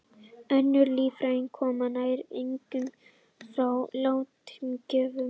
Önnur líffæri koma nær eingöngu frá látnum gjöfum.